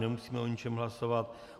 Nemusíme o ničem hlasovat.